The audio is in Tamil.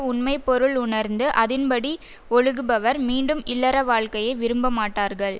உண்மை பொருள் உணர்ந்து அதின்படி ஒழுகுபவர் மீண்டும் இல்லற வாழ்க்கையை விரும்ப மாட்டார்கள்